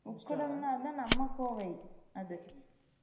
உக்கடம் னு இருந்த அது நம்ம கோவை